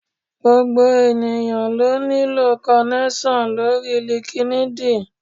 Gbogbo ènìyàn ló nílò kọnẹ́ṣọ̀n lóri línkídinì.